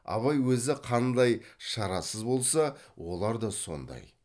абай өзі қандай шарасыз болса олар да сондай